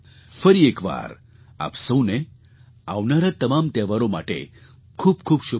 ફરી એક વાર આપ સહુને આવનારા તમામ તહેવારો માટે ખૂબ ખૂબ શુભકામનાઓ